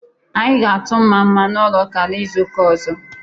Anyị ga atụ nmamma n'ụlọ ụka n'izuka ozo